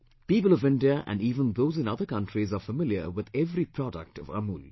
People of India and even those in other countries are familiar with every product of AMUL